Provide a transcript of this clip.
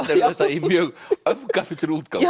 í mjög öfgafullri útgáfu